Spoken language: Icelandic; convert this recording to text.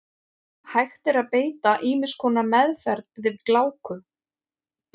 Hægt er að beita ýmiss konar meðferð við gláku.